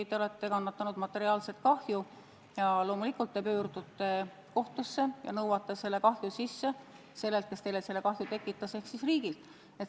Te olete kandnud materiaalset kahju ja loomulikult te pöördute kohtusse ja nõuate kahju sisse sellelt, kes tolle kahju tekitas, ehk siis riigilt.